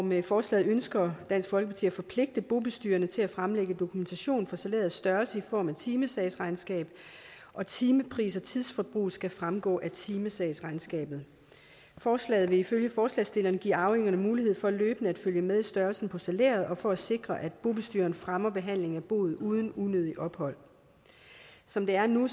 med forslaget ønsker dansk folkeparti at forpligte bobestyrerne til at fremlægge dokumentation for salærets størrelse i form af timesagsregnskab og timepriser og tidsforbrug skal fremgå af timesagsregnskabet forslaget vil ifølge forslagsstillerne give arvingerne mulighed for løbende at følge med i størrelsen på salæret og sikre at bobestyreren fremmer behandlingen af boet uden unødigt ophold som det er nu